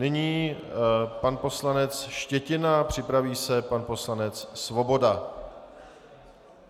Nyní pan poslanec Štětina, připraví se pan poslanec Svoboda.